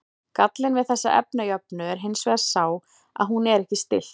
Gallinn við þessa efnajöfnu er hins vegar sá að hún er ekki stillt.